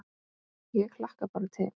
Ég hlakka bara til